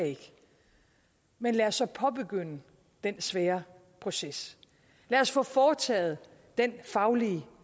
men lad os så påbegynde den svære proces lad os få foretaget den faglige